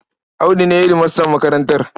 Audu ne hedimastan makarantar.